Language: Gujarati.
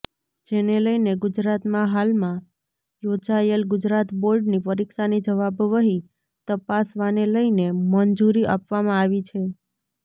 જેને લઇને ગુજરાતમાં હાલમાં યોજાયેલ ગુજરાત બોર્ડની પરીક્ષાની જવાબવહી તપાસવાને લઇને મંજૂરી આપવામાં આવી છે